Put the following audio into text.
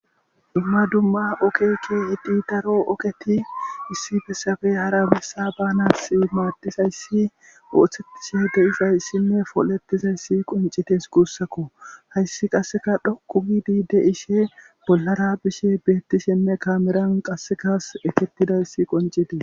dumma dumma okekke hidhi daro oketi issi fessabe hara bessa banas maaddizayssi ooththettishe de7izayssinne folettizayssi qoncites kuussakko hayssi qasseka dhokku gidi de ishe bollara bishe beettishenne kaameran qassekas eketidayssi qoncite